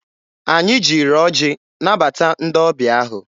Anyị jiri ọjị nabata ndị ọbịa ahụ.